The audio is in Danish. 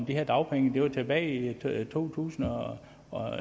her dagpenge det var tilbage i to tusind og